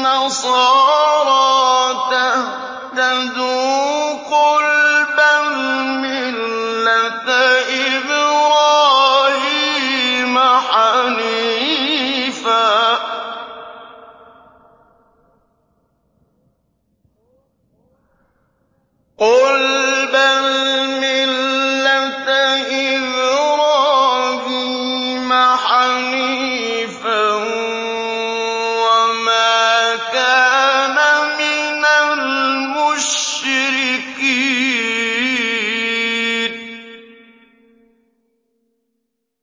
نَصَارَىٰ تَهْتَدُوا ۗ قُلْ بَلْ مِلَّةَ إِبْرَاهِيمَ حَنِيفًا ۖ وَمَا كَانَ مِنَ الْمُشْرِكِينَ